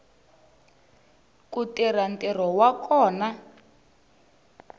ku tirha ntirho wa kona